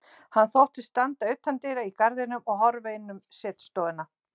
Hann þóttist standa utandyra í garðinum og horfa inn um setustofuna.